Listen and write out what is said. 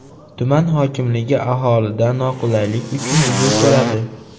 Tuman hokimligi aholidan noqulaylik uchun uzr so‘radi.